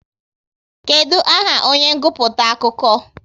Kedụ aha onye nguputa akụkọ?